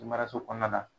Maraso kɔnɔna la